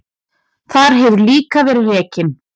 Þar hefur líka verið rekin